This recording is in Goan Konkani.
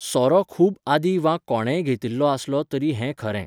सोरो खूब आदीं वा कोणेंय घेतिल्लो आसलो तरी हें खरें.